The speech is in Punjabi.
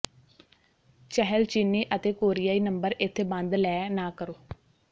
ਚਹਿਲ ਚੀਨੀ ਅਤੇ ਕੋਰੀਆਈ ਨੰਬਰ ਇੱਥੇ ਬੰਦ ਲੈ ਨਾ ਕਰੋ